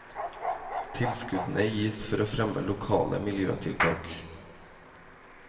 Tilskuddene gis for å fremme lokale miljøtiltak.